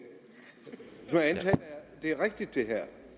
det er rigtigt det her